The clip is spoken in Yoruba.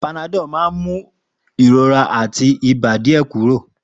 Panadol máa ń mú ìrora àti ibà díẹ̀ kúrò.